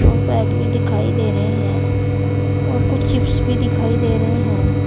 और बैग भी दिखाई दे रही हैं और कुछ चिप्स भी दिखाई दे रही हैं।